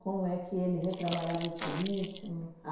Como é que ele retrabalhava esse ritmo?